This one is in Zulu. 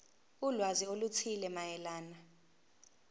ulwazi oluthile mayelana